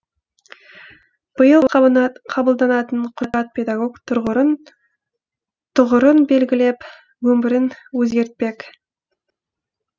биыл қабылданатын құжат педагог тұғырын белгілеп өмірін өзгертпек